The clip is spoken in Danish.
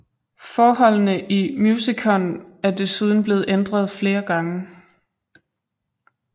Forholdene i Musicon er desuden blevet ændret flere gange